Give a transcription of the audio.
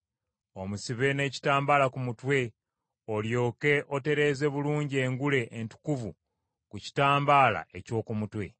omusibe n’ekitambaala ku mutwe olyoke otereeze bulungi engule entukuvu ku kitambaala eky’oku mutwe.